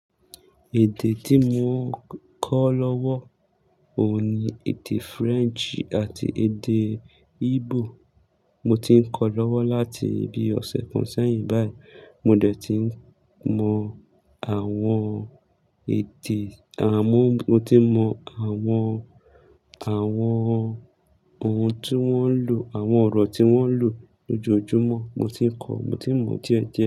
Èdè tí mo kọ́ lọ́wọ́ òní, èdè French àti èdè Igbo. Mo ti ń kọ́ lọ́wọ́ láti ibi ọ̀sẹ̀ kan sẹ́yìn báyìí. Mo dẹ̀ ti ń mọ àwọn èdè, àwọn mo ti mọ àwọn, àwọn ohun tí wọ́n ń lò, àwọn ọ̀rọ̀ tí wọ́n ń lò lójoojúmọ́ mo ti ń kọ́, mo ti mọ díẹ̀díẹ̀.